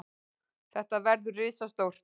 Þetta verður risastórt.